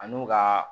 Ani u ka